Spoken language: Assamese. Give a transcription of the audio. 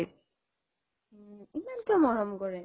ইমান কিয় মৰম কৰে